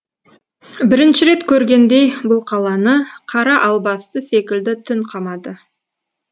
бірінші рет көргендей бұл қаланы қара албасты секілді түн қамады